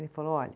Ele falou, olha,